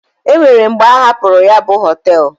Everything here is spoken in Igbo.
O nwere mgbe a hapụrụ ya bụ họtel.